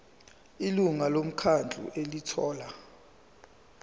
ilungu lomkhandlu elithola